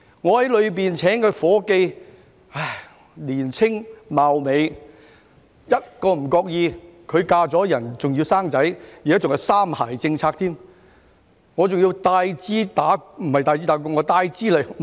我在內地聘請了一名年青貌美的夥計，嫁人後便生孩子，而且現在還是"三孩政策"，我要付 double 開支給她。